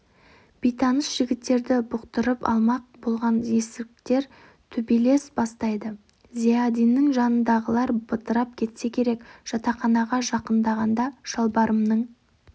бейтаныс жігіттерді бұқтырып алмақ болған есіріктер төбелес бастайды зиядиннің жанындағылар бытырап кетсе керек жатақханаға жақындағанда шалбарымның